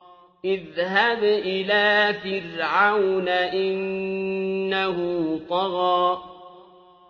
اذْهَبْ إِلَىٰ فِرْعَوْنَ إِنَّهُ طَغَىٰ